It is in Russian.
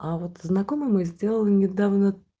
а вот знакомые мои сделали недавно